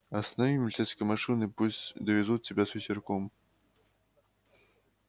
останови милицейскую машину и пусть довезут тебя с ветерком